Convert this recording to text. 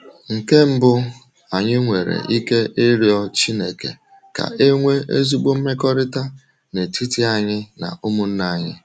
Nke mbụ, anyị nwere ike ịrịọ Chineke ka e nwee ezigbo mmekọrịta n'etiti anyị na ụmụnna anyị.